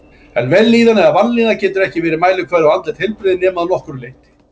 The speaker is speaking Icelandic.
En vellíðan eða vanlíðan getur ekki verið mælikvarði á andlegt heilbrigði nema að nokkru leyti.